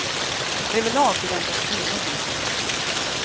Överlag förväntas kvinnor visa mer känslor.